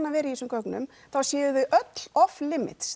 að vera í þessum gögnum þá séu þau öll off